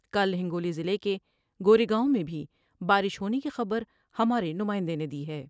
کل ہنگو لی ضلعے کے گورے گاؤں میں بھی بارش ہونے کی خبر ہمارے نمائندے نے دی ہے ۔